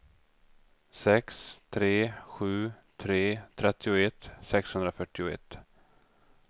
sex tre sju tre trettioett sexhundrafyrtioett